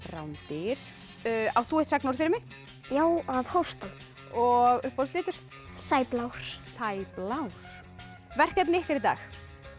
rándýr átt þú eitt sagnorð fyrir mig já að hósta og uppáhaldslitur Sæblár verkefnið ykkar í dag